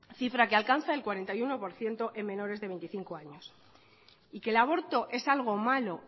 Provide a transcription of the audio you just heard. cifra que alcanza el cuarenta y uno por ciento en menores de veinticinco años y que el aborto es algo malo